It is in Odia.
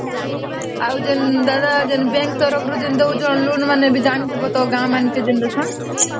ଆଉ ଯଦି ଦାଦା bank ତରଫରୁ ଯେମିତି ଦଉଚ୍ଛେଣ loan ମାନେ ବି ତ ଜାଣିଥିବା ତ ଗାଁ ମାନଂକର ଜେନସନ